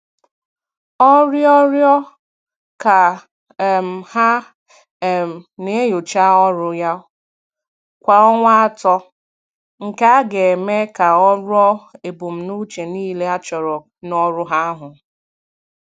Ọ rịọrọ ka um ha um na-enyocha ọrụ ya kwa ọnwa atọ, nke a ga-eme ka o ruo ebumnuche niile achọrọ n'ọrụ ahu